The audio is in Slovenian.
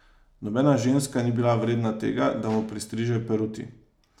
Nobena ženska ni bila vredna tega, da mu pristriže peruti.